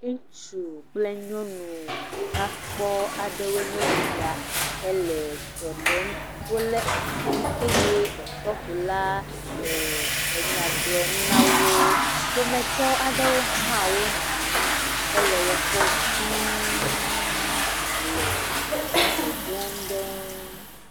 Ŋutsu kple nyɔnu nya kpɔ aɖewoe nye sia hele srɔ̃ɖem. Wòle asi eye ɔƒɔfo la le nya gblɔm nawò. Ƒometɔ aɖewo wonɔ anyi hele wokpɔm duuu le dzidzɔ dom ɖe wò ŋu.